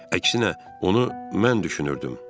Əksinə, onu mən düşünürdüm.